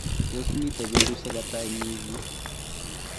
tos mito betusiek ata eng' wikit?